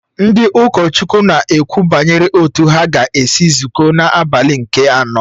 Ndị ụkọchukwu na-ekwu banyere otú ha ga-esi zukọ n’abalị nke anọ